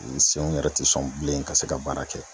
Ni senw yɛrɛ te sɔn bilen ka se ka baara kɛ.